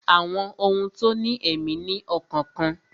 Àwọn ohun tó ní èmí ní ọkàn kan